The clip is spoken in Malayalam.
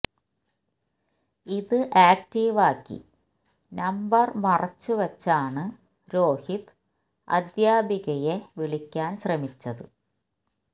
ഇത് ആക്ടീവാക്കി നമ്പർ മറച്ചു വച്ചാണ് രോഹിത് അദ്ധ്യാപികയെ വിളിക്കാൻ ശ്രമിച്ചത്